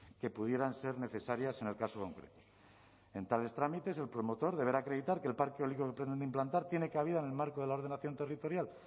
que pudieran ser necesarias en el caso concreto en tales trámites el promotor deberá acreditar que el parque eólico que pretende implantar tiene cabida en el marco de la ordenación territorial